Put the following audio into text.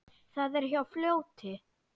Það er hjá fljóti.